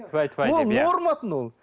тфәй тфәй деп иә норма тын ол